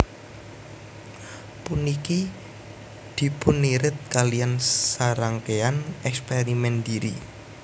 Puniki dipunirid kaliyan sarangkéyan èkspèrimèn dhiri